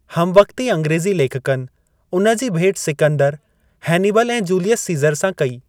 हमवक़्ती अंग्रेज़ी लेखकनि उन जी भेट सिकंदर, हैनिबल ऐं जूलियस सीज़र सां कई।